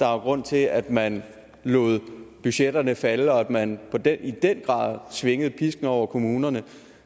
er grunden til at man lod budgetterne falde og at man i den grad svingede pisken over kommunerne